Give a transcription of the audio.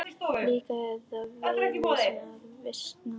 Líka að veltast í henni vísan.